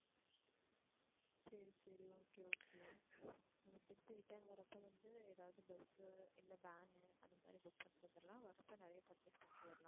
சரி சரி okay okay நம்ப திருப்பி return வர்றப்ப வந்து ஏதாவது bus உ இல்ல van உ அந்த மாதிரி book பண்ணிட்டு வந்துடலாம் வர்றப்ப நிறைய purchase பண்ணிட்டு வரலாம்.